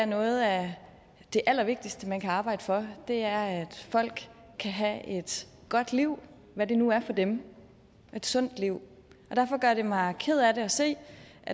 noget af det allervigtigste man kan arbejde for er at folk kan have et godt liv hvad det nu er for dem et sundt liv og derfor gør det mig ked af det at se